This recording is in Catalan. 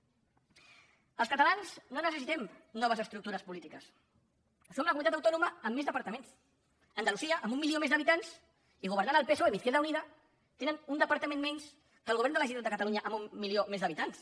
els catalans no necessitem noves estructures polítiques som la comunitat autònoma amb més departaments andalusia amb un milió més d’habitants i governant el psoe amb izquierda unida tenen un departament menys que el govern de la generalitat de catalunya amb un un milió més d’habitants